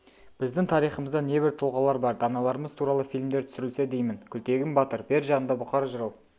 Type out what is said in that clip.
біздің тарихымызда небір тұлғалар бар даналарымыз туралы фильмдер түсірілсе деймін күлтегін батыр бер жағында бұқар жырау